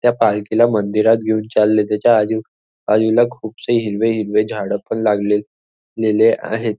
त्या पालखीला मंदिरात घेऊन चालले त्याच्या आजू बाजूला खूपसे हिरवे हिरवे झाडं पण लागले लेले आहेत.